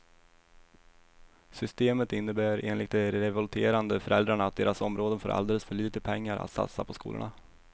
Systemet innebär enligt de revolterande föräldrarna att deras områden får alldeles för lite pengar att satsa på skolorna.